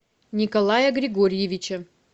николая григорьевича